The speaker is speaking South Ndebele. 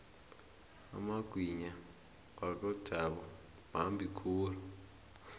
amagwinya wakojabu mambi khulu